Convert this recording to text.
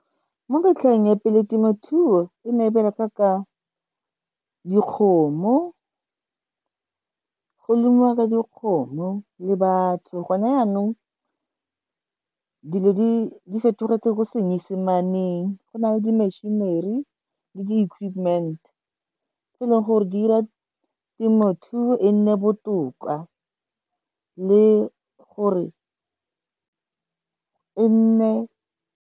Mo metlheng e pele temothuo e ne e bereka ka dikgomo, go lemiwa ka dikgomo le batho. Gone yanong dilo di fetogetse ko senyesemaneng, go na le di-machinery le di-equipment tse e leng gore di ira temothuo e nne botoka le gore e nne.